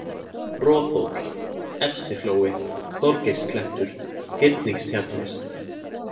Roðhóll, Efstiflói, Þorgeirsklettur, Hyrningstjarnir